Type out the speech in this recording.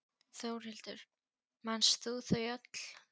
Þórhildur: Manst þú þau öll?